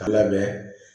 Ka lamɛn